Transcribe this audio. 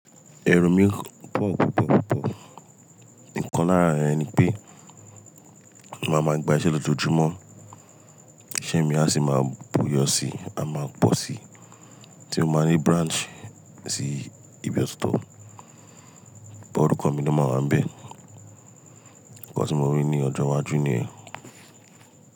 Ẹro mi pọ̀ púpọ̀ púpọ̀. Nǹkan lára rẹ̀ ni pé máa ma gba iṣẹ́ lójoojúmọ́, iṣé mi a sì máa buyo sí, á máa pọ̀ sí ti ó máa ní branch sí ibi ọ̀tọ̀ọ̀tọ̀, bọ orukọ̀ mi ló máa wà n bẹ̀. Ǹkan tí mo rí ní ọjọ́ iwájú nìyẹn.